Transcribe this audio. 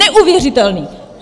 Neuvěřitelné!